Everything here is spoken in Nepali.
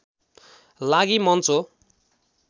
लागि मञ्च हो